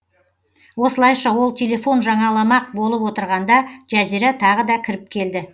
осылайша ол телефон жаңаламақ болып отырғанда жазира тағы да кіріп келді